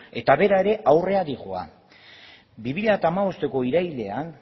eta bera ere aurrera dihoa bi mila hamabosteko irailean